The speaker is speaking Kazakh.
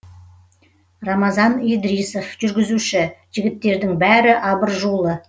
рамазан идрисов жүргізуші жігіттердің бәрі абыржулы